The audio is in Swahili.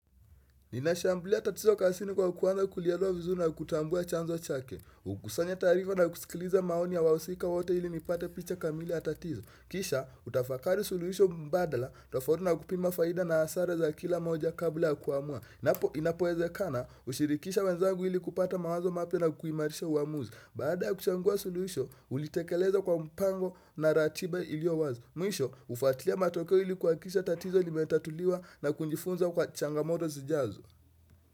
Ninashumblia tatizo kazini kwa kwanza kulielewa vizuri na kutambua chanzo chake. Ukusanya taarifa na kusikiliza maoni ya wahusika wote ili nipate picha kamili ya tatizo. Kisha, utafakari suluhisho mbadala, tofauti na kupima faida na hasara za kila moja kabla ya kuamua. Inapo, inapowezekana, hushirikisha wenzangu ili kupata mawazo mapya na kuimarisha uamuzi. Baada ya kuchambua suluhisho, ulitekeleza kwa mpango na ratiba iliyo wazi. Mwisho hufuatilia matokeo ili kuhakikisha tatizo limetatuliwa na kujifunza kwa changamoto zijazo.